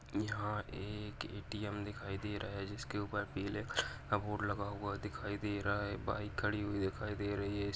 यहाँ एक ए.टीए.म. दिखाई दे रहा है जिसके ऊपर पीले कलर का बोर्ड लगा दिखाई दे रहा है बाइक खड़ी हुई दिखाई दे रही है --